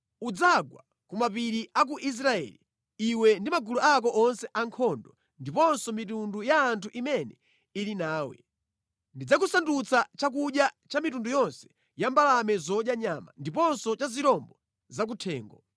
Udzagwa ku mapiri a ku Israeli, iwe ndi magulu ako onse ankhondo ndiponso mitundu ya anthu imene ili nawe. Ndidzakusandutsa chakudya cha mitundu yonse ya mbalame zodya nyama, ndiponso cha zirombo zakuthengo.